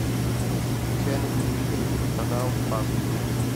включай на телевизоре телеканал спас